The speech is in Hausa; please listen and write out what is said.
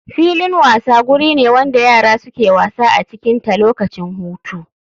Filin wasa guri wanda yara suke wasa acikin ta lokacin hutu.